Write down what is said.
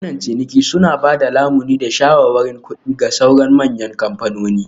Bankunan ciniki suna ba da lamuni da shawarwarin kuɗi ga sauran manyan kamfanoni